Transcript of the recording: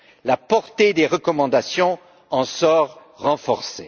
La portée des recommandations en sort renforcée.